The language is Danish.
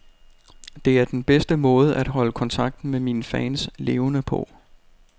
Det er den bedste måde at holde kontakten med mine fans levende på.